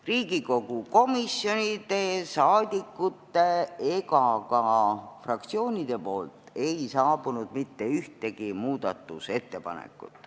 Riigikogu komisjonidelt, rahvasaadikutelt ega ka fraktsioonidelt ei saabunud mitte ühtegi muudatusettepanekut.